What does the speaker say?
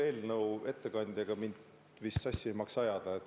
Eelnõu ettekandjaga mind vist sassi ei maksa ajada.